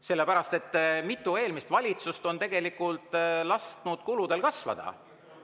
Sellepärast et mitu eelmist valitsust on lasknud kuludel kasvada.